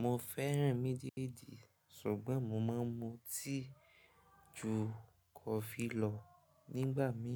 Mo fẹ́ràn mejeeji, ṣùgbọ́n mo má a ń mu tíì ju kọfí lọ. Nígbà mí